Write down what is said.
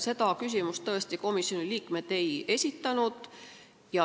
Seda küsimust tõesti komisjoni liikmed ei esitanud.